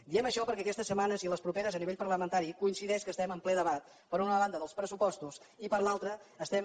diem això perquè aquestes setmanes i les properes a nivell parlamentari coincideix que estem en ple debat per una banda dels pressupostos i per altra estem